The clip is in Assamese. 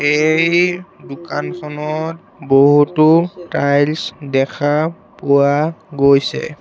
এই দোকানখনত বহুতো টাইলছ দেখা পোৱা গৈছে।